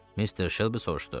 Mister Shelby soruşdu: